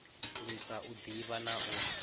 lwisa u ḓivha na u